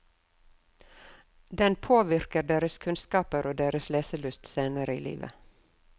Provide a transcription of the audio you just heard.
Den påvirker deres kunnskaper og deres leselyst senere i livet.